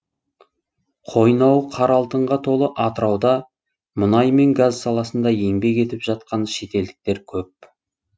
қойнауы қара алтынға толы атырауда мұнай мен газ саласында еңбек етіп жатқан шетелдіктер көп